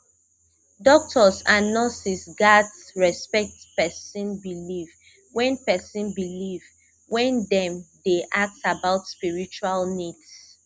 doctors and nurses gats respect person belief when person belief when dem dey ask about spiritual needs